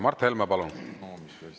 Mart Helme, palun!